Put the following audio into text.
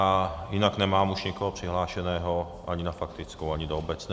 A jinak už nemám nikoho přihlášeného ani na faktickou, ani do obecné.